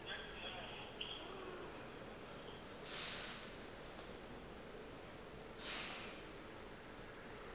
ka moka ba be ba